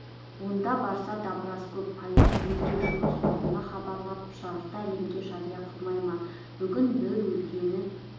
онда барса дабырасы көп полицейлерге жұмыс орнына хабарлап жарты әлемге жария қылмай ма бүгін бір өлгені